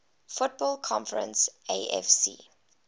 football conference afc